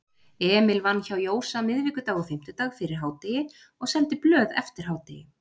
Emil vann hjá Jósa miðvikudag og fimmtudag fyrir hádegi og seldi blöð eftir hádegi.